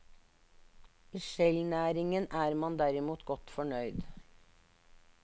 I skjellnæringen er man derimot godt fornøyd.